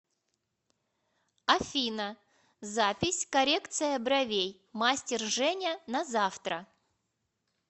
афина запись коррекция бровей мастер женя на завтра